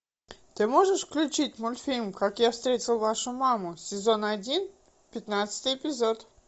ты можешь включить мультфильм как я встретил вашу маму сезон один пятнадцатый эпизод